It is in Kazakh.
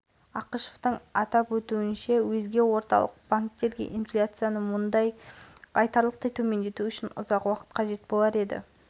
жайында бүгін ұлттық банкі жанындағы ақша-несие саясаты жөніндегі техникалық комитеттің қорытынды отырысында мәлімдеді деп хабарлайды